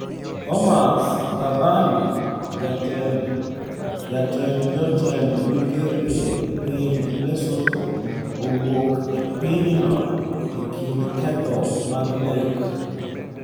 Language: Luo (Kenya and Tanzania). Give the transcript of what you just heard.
Thomas Thabane: Jatend jotend migepe e piny Lesotho owuok e pinyno e kind ketho mag nek